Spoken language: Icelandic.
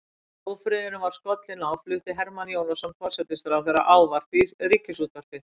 Þegar ófriðurinn var skollinn á flutti Hermann Jónasson forsætisráðherra ávarp í ríkisútvarpið.